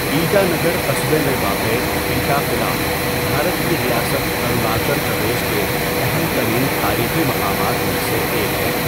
ایٹا نگر قصبے میں واقع ایٹا قلعہ، بھارت کی ریاست اروناچل پردیش کے اہم ترین تاریخی مقامات میں سے ایک ہے۔